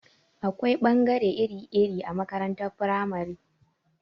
Akwai ɓangare iri-iri a makarantar firamare.